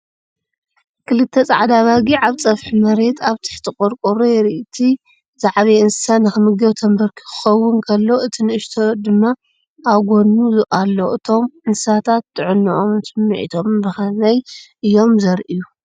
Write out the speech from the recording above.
ክልተ ጻዕዳ ኣባጊዕ ኣብ ጸፍሒ መሬት ኣብ ትሕቲ ቆርቆሮ የርኢ። እቲ ዝዓበየ እንስሳ ንኽምገብ ተንበርኪኹ ክኸውን ከሎ፡ እቲ ንእሽቶ ድማ ኣብ ጎድኑ ኣሎ። እቶም እንስሳታት ጥዕንኦምን ስሚዒቶምን ብኸመይ እዮም ዜርእዩ፧